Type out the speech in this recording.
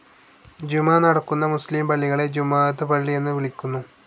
ജുമാ നടക്കുന്ന മുസ്ലിം പള്ളികളെ ജുമുഅത്ത് പള്ളി എന്ന് വിളിക്കുന്നു.